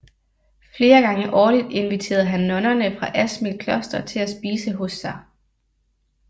Flere gange årligt inviterede han nonnerne fra Asmild Kloster til at spise hos sig